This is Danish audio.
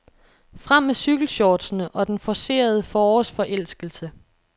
Frem med cykelshortsene og den forcerede forårsforelskelse.